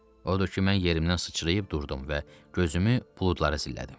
Odur ki, mən yerimdən sıçrayıb durdum və gözümü buludlara zillədim.